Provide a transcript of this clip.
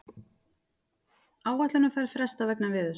Áætlunarferð frestað vegna veðurs